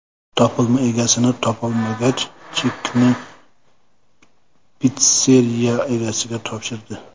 Topilma egasini topolmagach, chekni pitsseriya egasiga topshirdi.